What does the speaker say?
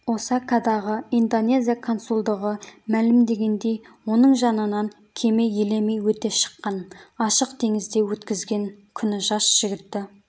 осакадағы индонезия консулдығы мәлімдегендей оның жанынан кеме елемей өте шыққан ашық теңізде өткізген күні жас жігітті